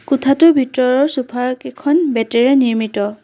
কোঠাটোৰ ভিতৰৰ চোফা কেইখন বেঁতেৰে নিৰ্মিত।